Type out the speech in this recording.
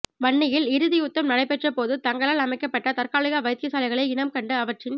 வன்னியில் இறுதி யுத்தம் நடைபெற்றபோது தங்களால் அமைக்கப்பட்ட தற்காலிக வைத்தியசாலைகளை இனம் கண்டு அவற்றின்